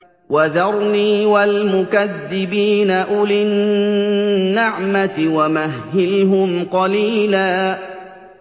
وَذَرْنِي وَالْمُكَذِّبِينَ أُولِي النَّعْمَةِ وَمَهِّلْهُمْ قَلِيلًا